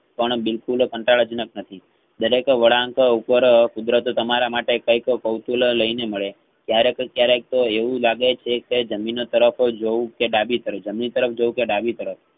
પણ બિલકુલ કાંટાળા જંક નથી દરેક વળાંક ઉપર કુદરતે તમારા માટે કંઈક કૌશલ્યલઈને મળે ક્યારેક~કયારેક તો એવું લાગે છે કે જમીન તરફ જોવ કે ડાબી તરફ તરફ જોવ કે ડાબી તરફ